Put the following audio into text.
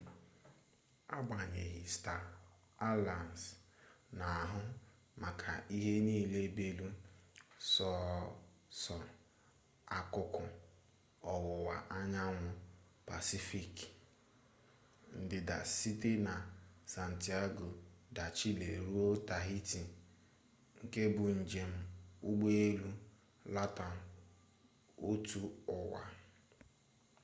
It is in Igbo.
agbanyeghi sta alayans na-ahụ maka ihe niile belụ sọọsọ akụkụ ọwụwa anyanwụ pasifik ndịda site na santiago de chile ruo tahiti nke bụ njem ụgbọelu latam otuụwa